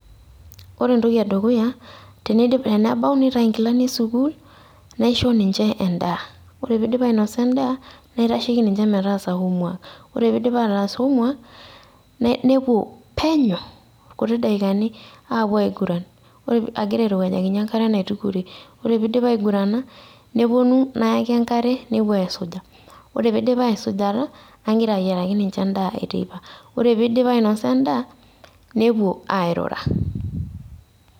Ore entoki edukuya, tenebau nitayu inkilani e sukuul, naisho ninche endaa. Ore piidip ainosa endaa, naitasheki ninche metaasa homework. Ore piidip ataas homework ,nepuo penyo, kuti dakikani, apuo aiguran agira airowuajakinye enkare naitukore. Ore piidip aigurana, neponu, nayaki enkare nepuo aisuja. Ore piidip aisujata, nagira ayiaraki ninche endaa eteipa. Ore piidip ainosa endaa, nepuo airura.